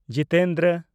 Jitendra